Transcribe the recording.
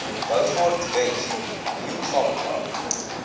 beaufort wes leeugamka